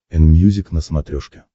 энмьюзик на смотрешке